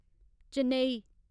Chennai